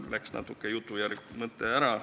Mul kadus jutujärg ja mõte natuke ära.